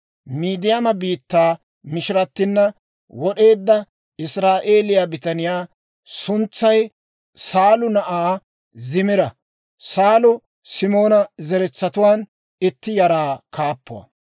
Midiyaama biittaa mishiratina wod'eedda Israa'eeliyaa bitaniyaa suntsay Saalu na'aa Zimira; Saalu Simoona zaratuwaan itti yaraa kaappuwaa.